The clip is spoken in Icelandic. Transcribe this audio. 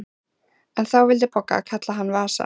En þá vildi Bogga kalla hann Vasa.